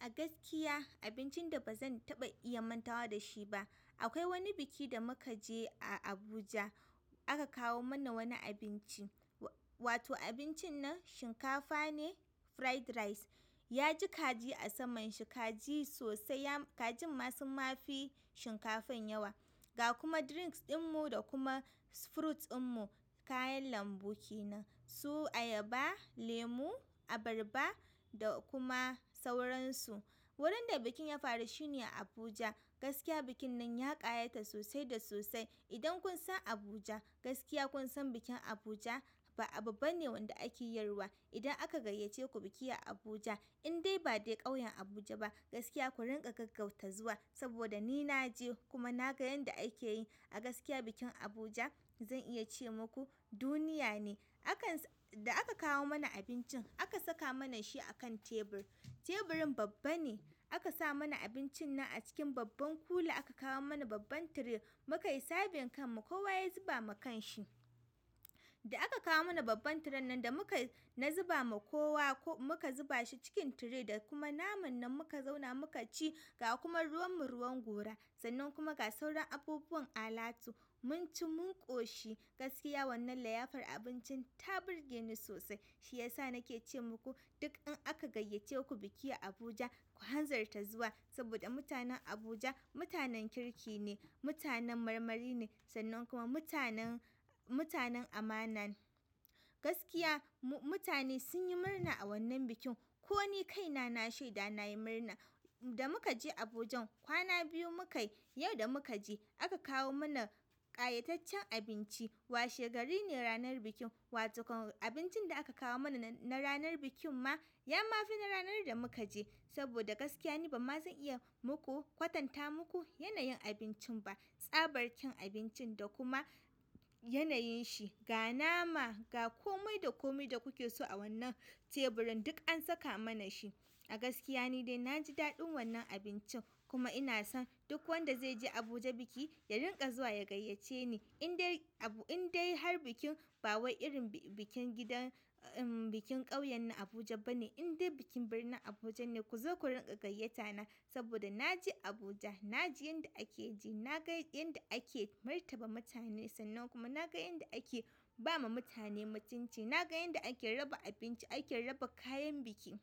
Agaskiya abincin da banza taɓa iya mantawa dashi ba. Akwai wani biki da muka je a Abuja aka kawo mana wani abinci, wato abincin nan shinkafa ne fried rice. Ya ji kaji a saman shi kaji sosai ya kajin ma su mafi shinkafan yawa ga kuma drinks ɗin mu da kuma fruits ɗin mu kayan lambu kenan su ayaba, lemu, abarba da kuma sauransu. Wurin da bikin ya faru shine a Abuja gaskiya bikin nan ya ƙayata sosai da sosai. Idan kun san Abuja gaskiya kun san bikin Abuja ba abu bane wanda ake yarwa. Idan aka gayyace ku biki a Abuja indai ba dai ƙauyen Abuja ba gaskiya ku rinƙa gaggauta zuwa saboda ni na je kuma na ga yanda ake yi a gaskiya bikin Abuja zan iya ce muku duniya ne. Akan da aka kawo mana abincin aka saka mana shi akan tebur. Teburin babba ne aka sa mana abincin nan a cikin babban kula aka kawo mana babban tire muka yi serving kan mu kowa ya zuba ma kan shi. Da aka kawo mana babban tire nan da muka na zuba ma kowa ko muka zuba shi cikin tire da kuma naman nan muka zauna muka ci ga kuma ruwan mu ruwan gora sannan kuma ga sauran abubuwan alatu mun ci mun ƙoshi gaskiya wannan liyafar abincin ta burge ni sosai shi yasa nake ce muku duk in aka gayyace ku biki a Abuja ku hanzarta zuwa saboda mutanen Abuja mutanen kirki ne, mutanen marmari ne sannan kuma mutanen, mutanen amana. Gaskiya mu mutane sun yi murna a wannan bikin ko ni kaina na shaida na yi murna. Da muka je Abuja kwana biyu muka yi yau da muka je aka kawo mana ƙayataccen abinci. Washe gari ne ranar bikin wato abincin da aka kawo muna na ranar bikin ma yama fi na ranar da mukaje saboda ni gaskiya bazan ma iya kwantata muku yanayin abincin ba. Tsabar kyan abincin da kuma yanayin shi ga nama ga komai da komai da kuke so a wannan teburin duk an saka mana shi. A gaskiya ni dai na ji daɗin wannan abincin kuma ina son duk wanda zai je Abuja biki ya rinƙa zuwa ya gayyace ni indai abu indai har bikin ba wai irin bikin gidan bikin ƙauyen na Abuja ba ne indai bikin birnin Abuja ne ku zo ku rinƙa gayyata na saboda naje Abuja naji yanda ake ji naga yanda ake martaba mutane sanan kuma naga yanda ake ba ma mutanen mutunci naga yanda ake raba abinci ake raba kayan biki.